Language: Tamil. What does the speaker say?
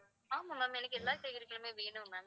ஆமாம் ma'am எல்லா காய்கறியுமே வேணும் ma'am